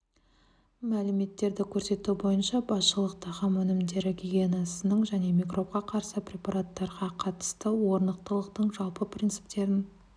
мәліметтерді көрсету бойынша басшылық тағам өнімдері гигиенасының және микробқа қарсы препараттарға қатысты орнықтылықтың жалпы принциптерін